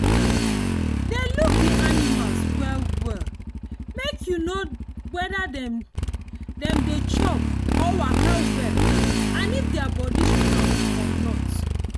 dey look the animals well well make you know weda dem dem dey chop or waka well and if their body strong or not